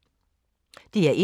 DR1